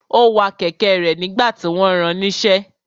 Ó wa kẹ̀kẹ́ rẹ̀ nígbà tí wọ́n ran níṣẹ́.